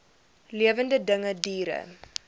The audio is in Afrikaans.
lewende dinge diere